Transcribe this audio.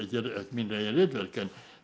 mín eigin ritverk en